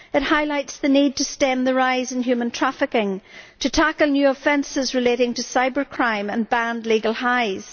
It highlights the need to stem the rise in human trafficking, tackle new offences relating to cybercrime and ban legal highs.